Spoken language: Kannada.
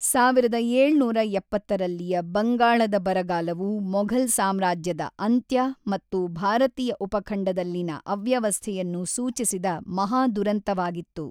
ಸಾವಿರದ ಏಳುನೂರ ಎಪ್ಪತ್ತರಲ್ಲಿಯ ಬಂಗಾಳದ ಬರಗಾಲವು ಮೊಘಲ್ ಸಾಮ್ರಾಜ್ಯದ ಅಂತ್ಯ ಮತ್ತು ಭಾರತೀಯ ಉಪಖಂಡದಲ್ಲಿನ ಅವ್ಯವಸ್ಥೆಯನ್ನು ಸೂಚಿಸಿದ ಮಹಾದುರಂತವಾಗಿತ್ತು.